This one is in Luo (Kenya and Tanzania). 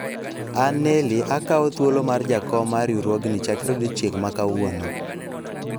an Neli akawo thuolo mar jakom mar riwruogni chakre odiochieng' ma kawuono